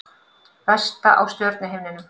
Vesta á stjörnuhimninum